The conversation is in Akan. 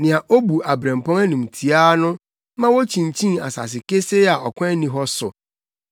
nea obu abirɛmpɔn animtiaa no ma wokyinkyin asase kesee a ɔkwan nni hɔ so.